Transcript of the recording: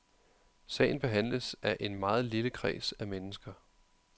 Sagen behandles af en meget lille kreds af mennesker.